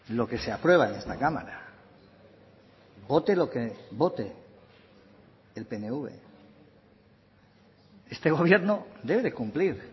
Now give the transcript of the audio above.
lo que se aprueba en esta cámara vote lo que vote el pnv este gobierno debe de cumplir